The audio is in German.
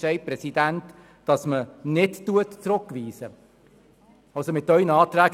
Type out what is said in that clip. Der Präsident entschied per Stichentscheid, keine Rückweisung zu beantragen.